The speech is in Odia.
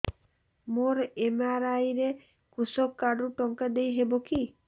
ମୋର ଏମ.ଆର.ଆଇ ରେ କୃଷକ କାର୍ଡ ରୁ ଟଙ୍କା ଦେଇ ହବ କି